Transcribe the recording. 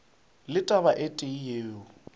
le taba e tee yeo